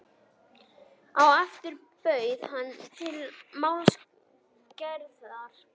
Á eftir bauð hann til málsverðar.